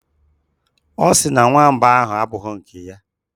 Ọ sị na nwamba ahụ abụghị nke ya.